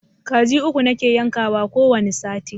Kaji uku nake yankawa ko wani sati